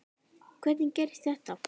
Hvernig gerðist þetta?